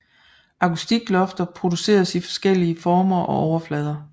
Akustiklofter produceres i forskellige former og overflader